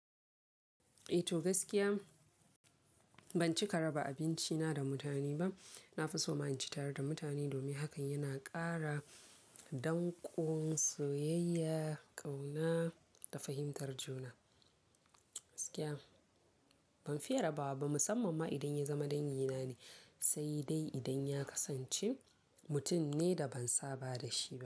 Eh to gaskiya ban cika raba abincina da mutane ba. Na fi so ma in ci tare da mutane domin hakan yana ƙara dankon soyayya, ƙauna da fahimtar juna. Gaskiya ban fiye rabawa ba, musamman ma idan ya zama dangina ne, sai dai idan ya kasance mutum ne da ban saba da shi ba.